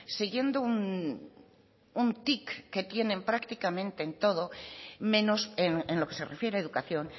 siguiendo un tic que tienen prácticamente en todo menos en lo que se refiere a educación